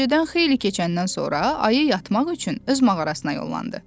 Gecədən xeyli keçəndən sonra Ayı yatmaq üçün öz mağarasına yollandı.